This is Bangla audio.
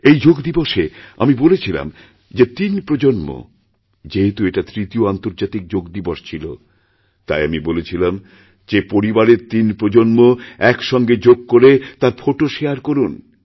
এইযোগ দিবসে আমি বলেছিলাম যে তিন প্রজন্ম যেহেতু এটা তৃতীয় আন্তর্জাতিক যোগ দিবসছিল তাই আমি বলেছিলাম যে পরিবারের তিন প্রজন্ম এক সঙ্গে যোগ করে তার ফোটো শেয়ারকরুন